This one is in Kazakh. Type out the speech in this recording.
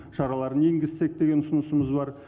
шараларын енгізсек деген ұсынысымыз бар